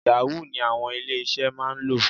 Yahoo ni àwọn ilé-iṣẹ́ máa ń lò.